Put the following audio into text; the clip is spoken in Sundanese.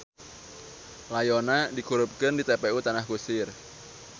Layonna dikurebkeun di TPU Tanah Kusir.